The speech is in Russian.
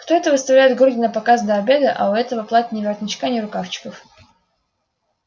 кто это выставляет груди напоказ до обеда а у этого платья ни воротничка ни рукавчиков